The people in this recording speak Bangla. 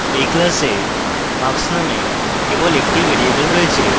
এই class এ marks named কেবল একটি ভ্যারিয়েবল রয়েছে